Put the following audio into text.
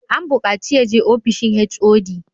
An bukaci ya je ofishin HOD!